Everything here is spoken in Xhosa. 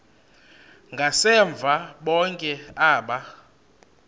ngasemva bonke aba